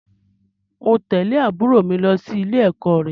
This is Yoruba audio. Mò ń tẹ̀lé àbúrò mi lọ sí ilé-ẹ̀kọ́ rẹ